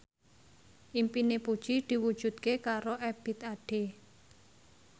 impine Puji diwujudke karo Ebith Ade